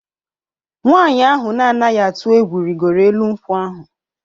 Nwanyị ahụ na-anaghị atụ egwu rịgoro elu nkwụ ahụ.